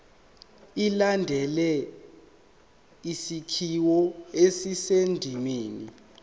ilandele isakhiwo esisendimeni